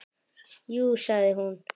Jú sagði hún.